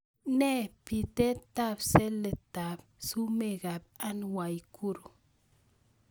Nee bitetab saletap sumekap Ann Waiguru